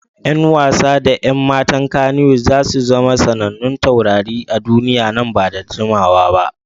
Yan wasa da 'yan matan Kannywood za su zama sanannun taurari a duniya nan ba da jimawa ba.